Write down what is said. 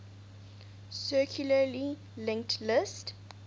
circularly linked list